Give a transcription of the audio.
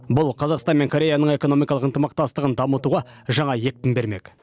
бұл қазақстан мен кореяның экономикалық ынтымақтастығын дамытуға жаңа екпін бермек